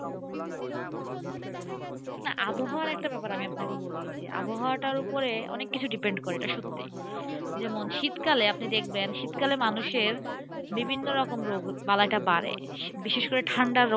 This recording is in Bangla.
না আবহাওয়ার একটা ব্যাপার আমি আপনাকে বলি যে, আবহাওয়াটার উপরে অনেককিছু depend করে এটা সত্যি। যেমন শীতকালে আপনি দেখবেন শীতকালে মানুষের বিভিন্ন রকম রোগ বালাটা বাড়ে। বিশেষ করে ঠান্ডা রোগটা।